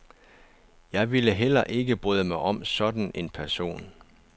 Jeg ville heller ikke bryde mig om sådan en person.